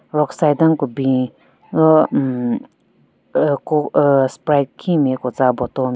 Rockside den ku bin ro hmm ahh ku ahh sprite khin nme ku tsa bottle --